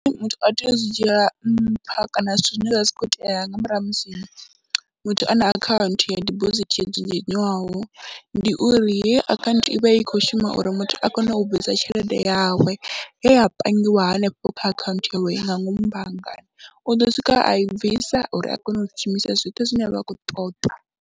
Muthu a tea u zwi dzhiela nṱha kana zwithu zwine zwa vha zwi khou itea nga murahu ha musi muthu a na akhaunthu ya dibosithi yo dzudzanywaho, ndi uri heyi akhaunthu i vha i khou shuma uri muthu a kone u bvisa tshelede yawe ye ya pangiwa hanefho kha akhaunthu yawe nga ngomu banngani, u ḓo swika a i bvisa uri a kone u shumisa zwithu zwine a vha khou ṱoḓa.